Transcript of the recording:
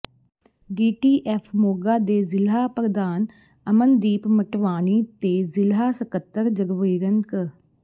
DTF Moga ਦੇ ਜ਼ਿਲਾ ਪ੍ਰਧਾਨ ਅਮਨਦੀਪ ਮਟਵਾਣੀ ਤੇ ਜ਼ਿਲ੍ਹਾ ਸਕੱਤਰ ਜਗਵੀਰਨ ਕ